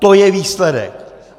To je výsledek!